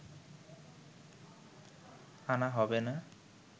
আনা হবে না